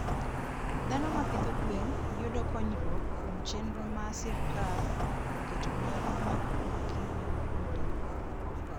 Dhano ma pidho gwen yudo konyruok kuom chenro ma sirkal oketo mar makruok gi weg udi.